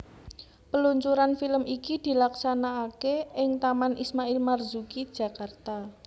Peluncuran film iki dilaksanakake ing Taman Ismail Marzuki Jakarta